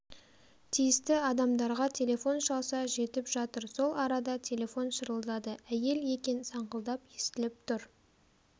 тиісті адамдарға телефон шалса жетіп жатыр сол арада телефон шырылдады әйел екен саңқылдап естіліп тұр